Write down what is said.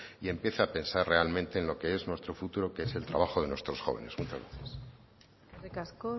y empiece a pensar realmente en lo que es nuestro futuro que es el trabajo de nuestros jóvenes muchas gracias eskerrik asko